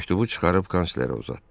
Məktubu çıxarıb kanslerə uzatdı.